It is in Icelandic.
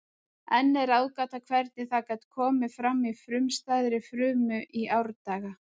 Enn er ráðgáta hvernig það gat komið fram í frumstæðri frumu í árdaga.